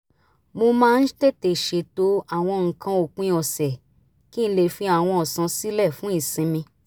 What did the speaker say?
mo máa ń tètè ṣètò àwọn nǹkan ópin ọ̀sẹ̀ kí n lè fi àwọn ọ̀sán sílẹ̀ fún ìsinmi